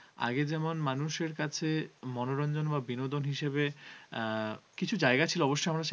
আগে যেমন মানুষের কাছে মনোরঞ্জন বা বিনোদন হিসাবে আহ কিছু জায়গা ছিল অবশ্যই আমরা